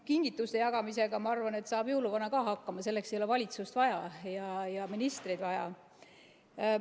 Kingituste jagamisega, ma arvan, saab ka jõuluvana hakkama, selleks ei ole valitsust ega ministreid vaja.